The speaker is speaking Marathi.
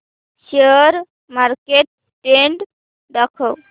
शेअर मार्केट ट्रेण्ड दाखव